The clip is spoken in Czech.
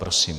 Prosím.